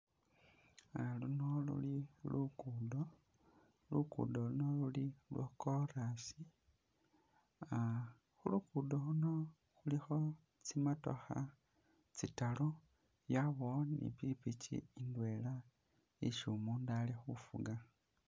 Aaaah luno luli lukudo lukudo, lukudo luno luli lwakolasi ah khulugudo khuno khulikho tsimotokha tsitaru yabawo ni pikipiki indwela isi umundu ali khufuga